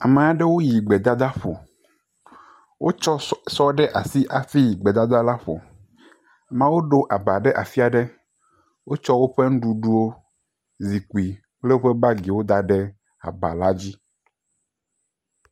Ame aɖewo yi gbedadaƒo. Wotsɔ sɔ ɖe asi hafi yi gbedada la ƒo. Ame aɖewo ɖo aba ɖe afi aɖe, wotsɔ woƒe nuɖuɖuwo, zikpui kple woƒe bagiwo da ɖe aba la dzi.